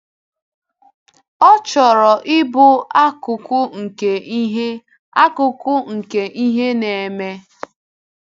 Ọ chọrọ ịbụ akụkụ nke ihe akụkụ nke ihe na-eme.